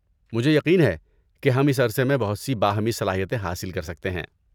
مجھے یقین ہے کہ ہم اس عرصے میں بہت سی باہمی صلاحیتیں حاصل کر سکتے ہیں۔